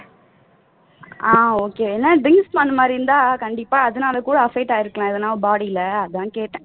ஆஹ் okay ஏனா drinks பண்ற மாதிரி இருந்தா கண்டிப்பா அதனால கூட affect ஆகி இருக்கலாம் எதனா body ல அதான் கேட்டேன்